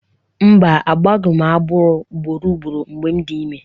Mba, agbọghị m agbọ ugboro ugboro mgbe m dị ime